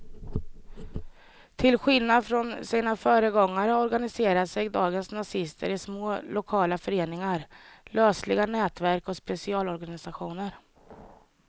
Till skillnad från sina föregångare organiserar sig dagens nazister i små lokala föreningar, lösliga nätverk och specialorganisationer.